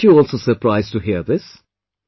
Weren't you also surprised to hear this